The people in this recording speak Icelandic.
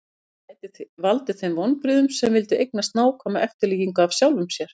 Það gæti valdið þeim vonbrigðum sem vildu eignast nákvæma eftirlíkingu af sjálfum sér.